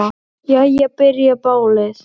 Jæja. byrjar ballið!